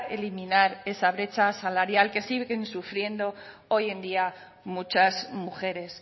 eliminar esa brecha salarial que siguen sufriendo hoy en día muchas mujeres